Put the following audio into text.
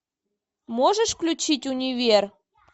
можешь включить универ